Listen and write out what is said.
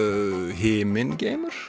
himingeimur